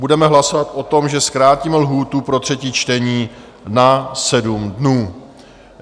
Budeme hlasovat o tom, že zkrátíme lhůtu pro třetí čtení na 7 dnů.